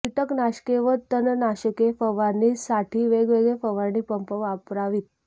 कीटकनाशके व तणनाशके फवारणी साठी वेगवेगळे फवारणी पंप वापरावीत